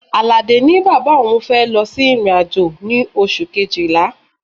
Aládé ní bàbá òun fẹ́ lọ sí ìrìn-àjò ní oṣù Kejìlá.